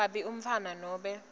kabi umntfwana nobe